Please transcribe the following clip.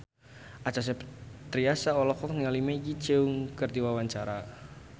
Acha Septriasa olohok ningali Maggie Cheung keur diwawancara